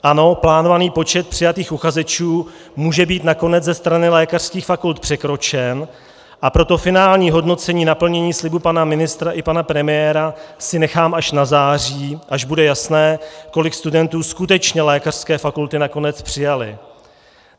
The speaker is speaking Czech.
Ano, plánovaný počet přijatých uchazečů může být nakonec ze strany lékařských fakult překročen, a proto finální hodnocení naplnění slibu pana ministra i pana premiéra si nechám až na září, až bude jasné, kolik studentů skutečně lékařské fakulty nakonec přijaly.